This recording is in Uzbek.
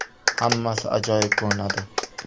Hammasi ajoyib ko‘rinadi.